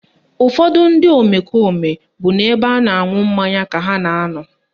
Ụfọdụ ndị omekome bụ n'ebe a na-aṅụ mmanya ka ha na anọ